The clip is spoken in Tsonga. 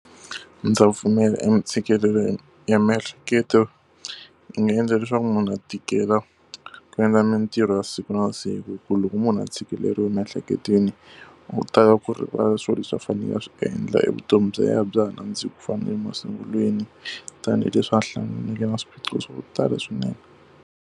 Ndza pfumela entshikelelo ya miehleketo yi nga endla leswaku munhu a tikela ku endla mintirho ya siku na siku hikuva loko munhu a tshikeleriwa miehleketweni u tala ku rivala swilo leswi a faneleke a swi endla, e vutomi bya yena bya ha nandziki ku fana na le masungulweni tanihileswi a hlanganeke na swiphiqo swa ku tala swinene.